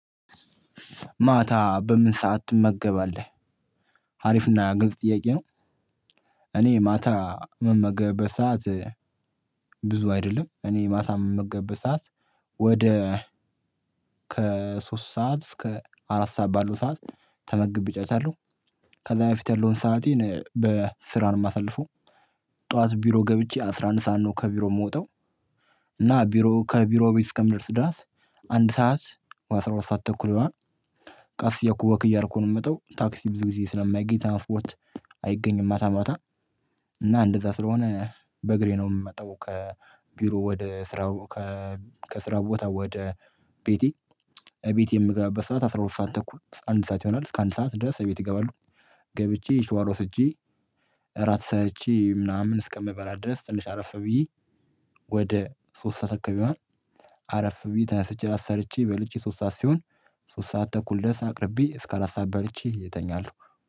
ማታ በምን ሰዓት ትመገባለህ ሀሪፍና ግንፅ ጥያቄ ነው? እኔ ማታ ምመገብበት ሰዓት ብዙ አይደለም እኔ ማታ ምመገብበት ሰዓት። ወደ ከሶስት ሰዓት እስከ አራት ሰዓት ባሉ ሰዓት ተመግብ እጨርሳለሁ። ከዛ በፊት ያለውን ሰአቴን በስራ ነው ማሳለፉ። ጠዋት ቢሮ ገብቼ አስራ አንድ ሰዓት ነው ከቢሮ የምወጣው። እና ቢሮ ከቢሮ ቤት እስከምደርስ ድረስ አንድ ሰዓት ወይ አስራ ሁለት ሰዓት ተኩል ይሆናል። ቀስ እያልኩ ወክ አያረኩ ነው የምመጣው ታክሲ ብዙ ጊዜ ስለማይገኝ ትራንስፖርት አይገኝም። ማታ ማታ እና እንደዛ ስለሆነ በእግሬ ነው የምመጣው። ከቢሮ ወደ ስራው ከስራ ቦታ ወደ ቤቴ ቤቴ የምገባበት ሰዓት አስራ ሁለት ሰዓት ተኩል አንድ ሰዓት ይሆናል። እስከ አንድ ሰዓት ድረስ እቤት ገባለሁ። ገብቼ ሸዋር ወስጄ እራት ሰራችኝ ምናምን እስከምበላ ድረስ ትንሽ አረፈ ብዬ ወደ ሶስት ሰዓት አካባቢ። አረፍ ቢዬ ታነስቼ እራት ሰርቼ በልቼ ሶስት ሰዓት ሲሆን ሶስት ሰዓት ተኩል ድረስ አቅርቢ እስካ አራት ሰዓት በልቼ እተኛለሁ